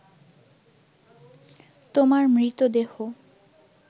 তোমার মৃতদেহ